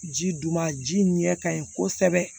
Ji dun ma ji ɲɛ ka ɲi kosɛbɛ